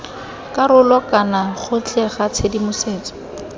karolo kana gotlhe ga tshedimosetso